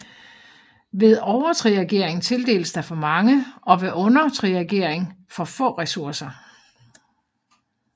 Ved overtriagering tildeles der for mange og ved undertriagering for få ressourcer